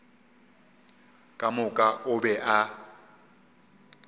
ka moka o be a